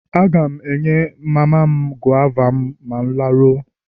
Aga m enye mama m gova a ma m laruo.